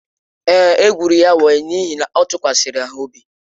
Èé, e gwụrụ ya wayo n’ihi na ọ tụkwasịrị ha obi.